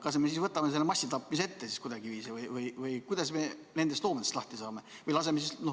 Kas me võtame siis ette massitapmise kuidagiviisi või kuidas me nendest loomadest lahti saame?